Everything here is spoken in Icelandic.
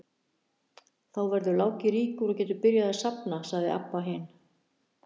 Þá verður Lási ríkur og getur byrjað að safna, sagði Abba hin.